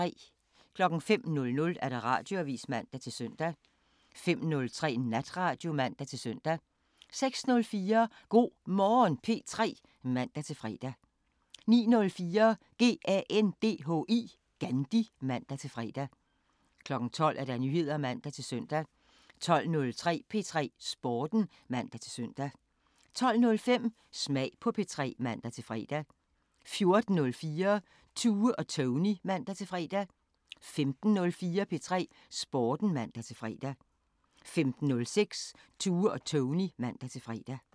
05:00: Radioavisen (man-søn) 05:03: Natradio (man-søn) 06:04: Go' Morgen P3 (man-fre) 09:04: GANDHI (man-fre) 12:00: Nyheder (man-søn) 12:03: P3 Sporten (man-søn) 12:05: Smag på P3 (man-fre) 14:04: Tue og Tony (man-fre) 15:04: P3 Sporten (man-fre) 15:06: Tue og Tony (man-fre)